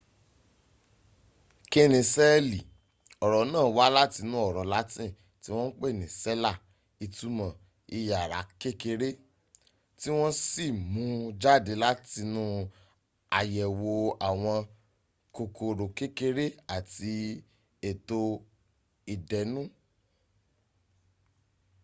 kínni sẹ́ẹ̀lì ọ̀rọ̀ náà wá látinú ọ̀rọ̀ latin tí wọ́n pè ní cella ìtumọ̀ iyàrá kékerá tí wọ́n sì mún un jáde látinu àyẹ̀wò àwọn kòkòrò kékeré àti ètò ìdẹ́nu